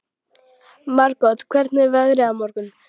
Margot, hvernig er veðrið á morgun?